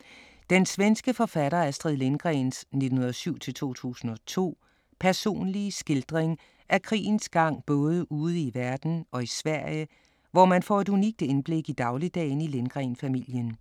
1939-1945 Den svenske forfatter Astrid Lindgrens (1907-2002) personlige skildring af krigens gang både ude i verden og i Sverige, hvor man får et unikt indblik i dagligdagen i Lindgren-familien.